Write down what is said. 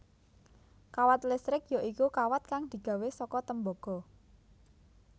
Kawat listrik ya iku kawat kang digawé saka tembaga